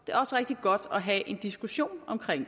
og have en diskussion om